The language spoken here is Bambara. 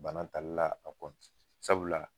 Bana talila a kɔ sabula